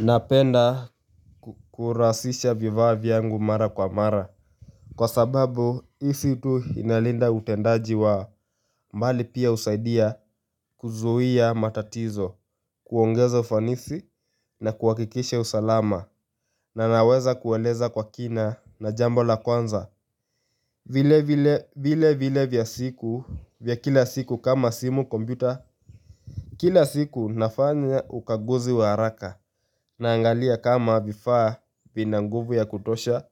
Napenda kurasisha viva vyangu mara kwa mara Kwa sababu isi tu inalinda utendaji wa mbali pia usaidia kuzuhia matatizo kuongeza ufanisi na kuwakikishe usalama na naweza kueleza kwa kina na jambo la kwanza vile vile vile vya siku vya kila siku kama simu kombuta Kila siku nafanya ukaguzi wa haraka Naangalia kama vifaa vina nguvu ya kutosha,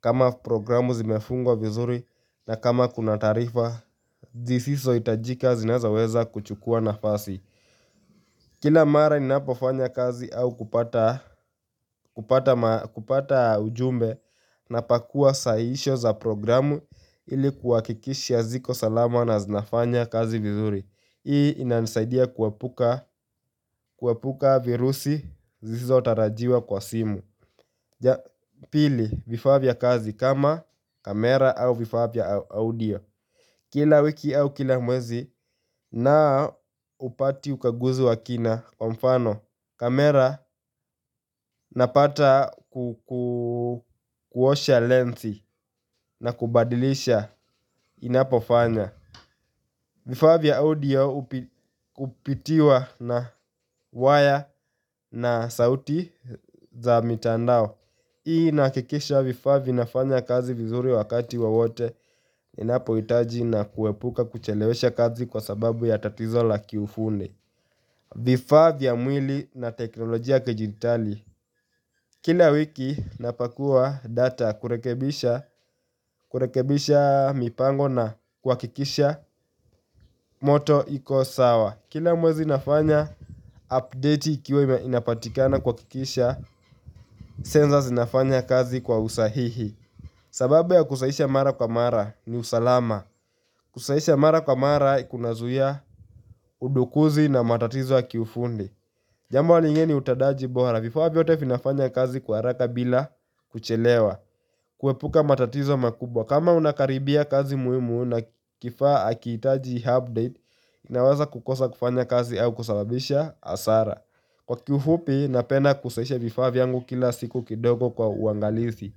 kama programu zimefungwa vizuri na kama kuna tarifa, zisiso itajika zinazoweza kuchukua nafasi. Kila mara ninapofanya kazi au kupata ujumbe na pakua sahisho za programu ili kuwa kikisha ziko salama na zinafanya kazi vizuri. Hii inanisaidia kuwepuka virusi zisisotarajiwa kwa simu. Pili vifa vya kazi kama kamera au vifa vya audio Kila wiki au kila mwezi naupati ukaguzi wa kina kwa mfano kamera napata kukuosha lensi na kubadilisha inapofanya Vifa vya audio upitiwa na wire na sauti za mitandao Hii nakikisha vifa vinafanya kazi vizuri wakati wowote inapo hitaji na kuwepuka kuchelewesha kazi kwa sababu ya tatizo la kiufundi Vifa vya mwili na teknolojia kijitali Kila wiki napakua data kurekebisha mipango na kwakikisha moto iko sawa Kila mwezi nafanya update ikiwe inapatikana kwakikisha Senza zinafanya kazi kwa usahihi sababu ya kusahisha mara kwa mara ni usalama Kusahisha mara kwa mara kuna zuiya udukuzi na matatizo ya kiufundi Jambo lingeni utadaji bora Vifa viyote finafanya kazi kuaraka bila kuchelewa kuepuka matatizo makubwa kama unakaribia kazi muimu na kifaa akiitaji update Naweza kukosa kufanya kazi au kusababisha asara Kwa kiufupi napenda kusahisha vifa viyangu kila siku kidogo kwa uangalizi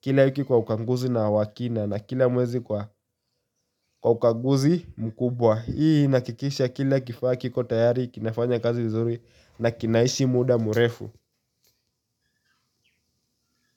Kila wiki kwa ukanguzi na wakina na kila mwezi kwa ukanguzi mkubwa Hii nakikisha kila kifaa kiko tayari, kinafanya kazi uzuri na kinaishi muda murefu.